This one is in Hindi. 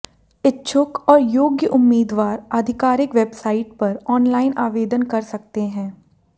इच्छुक और योग्य उम्मीदवार आधिकारिक वेबसाइट पर ऑनलाइन आवेदन कर सकते हैं